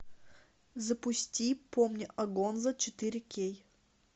запусти помни о гонзо четыре кей